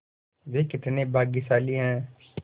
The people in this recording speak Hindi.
वे कितने भाग्यशाली हैं